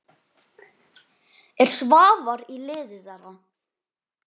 Er Svavar í liði þeirra?